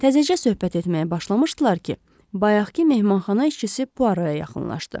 Təzəcə söhbət etməyə başlamışdılar ki, bayaqkı mehmanxana işçisi Puaroa yaxınlaşdı.